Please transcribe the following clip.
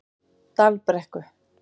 Dalbrekku